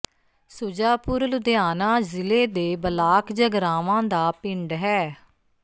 ਸੁਜਾਪੁਰ ਲੁਧਿਆਣਾ ਜ਼ਿਲੇ ਦੇ ਬਲਾਕ ਜਗਰਾਵਾਂ ਦਾ ਪਿੰਡ ਹੈ